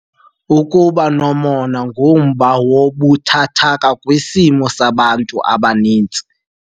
Ukuba nomona ngumba wobuthathaka kwisimo sabantu abaninzi.